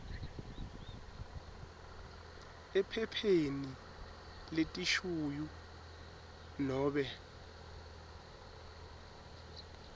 ephepheni letishuyu nobe